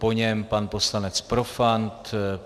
Po něm pan poslanec Profant.